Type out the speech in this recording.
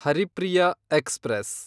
Haripriya express